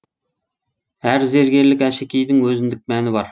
әр зергерлік әшекейдің өзіндік мәні бар